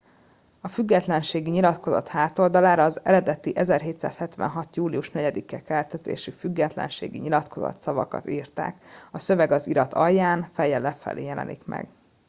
a függetlenségi nyilatkozat hátoldalára a az eredeti 1776. július 4 i keltezésű függetlenségi nyilatkozat szavakat írták a szöveg az irat alján fejjel lefelé jelenik meg